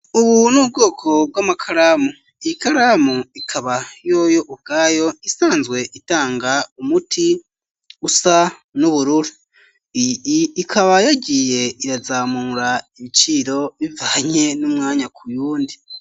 Ubu n'ubwoko bw'amakaramu iyi karamu ikaba yoyo ubwayo isanzwe itanga umuti usa n'ubururu, ikaba yagiye irazamura ibiciro bivanye n'umwanya k'uyundi.